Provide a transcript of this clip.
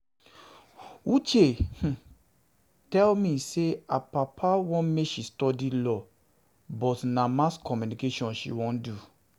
Uche tell um me say her papa um want um want make she um study law but na mass communication she wan do